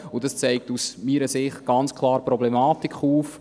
Aus meiner Sicht zeigt dies ganz klar die Problematik auf.